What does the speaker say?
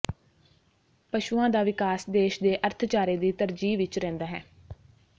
ਪਸ਼ੂਆਂ ਦਾ ਵਿਕਾਸ ਦੇਸ਼ ਦੇ ਅਰਥਚਾਰੇ ਦੀ ਤਰਜੀਹ ਵਿੱਚ ਰਹਿੰਦਾ ਹੈ